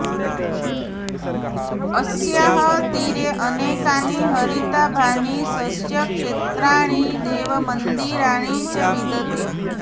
अस्याः तीरे अनेकानि हरिताभानि सस्यक्षेत्राणि देवमन्दिराणि च विद्यते